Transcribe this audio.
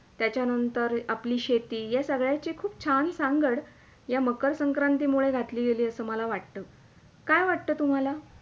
त्याच्या नंतर आपली शेती या सगळ्याची खूप छान सांगड या मकर संक्रांती मुळे घातली गेली असं मला वाटतं काय वाटतं तुम्हाला?